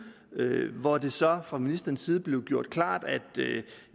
hvor det så fra ministerens side blev gjort klart